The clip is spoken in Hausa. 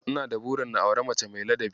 Ina burin na auri mace mai ladabi.